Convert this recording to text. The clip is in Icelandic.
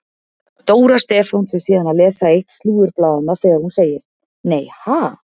Dóra Stefáns er síðan að lesa eitt slúðurblaðanna þegar hún segir: Nei ha?